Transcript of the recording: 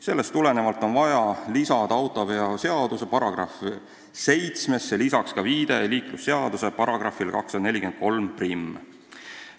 Sellest tulenevalt on vaja lisada autoveoseaduse § 7 ka viide liiklusseaduse §-le 2431.